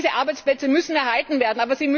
Diese Arbeitsplätze müssen erhalten werden.